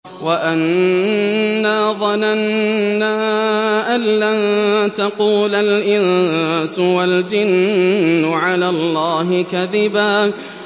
وَأَنَّا ظَنَنَّا أَن لَّن تَقُولَ الْإِنسُ وَالْجِنُّ عَلَى اللَّهِ كَذِبًا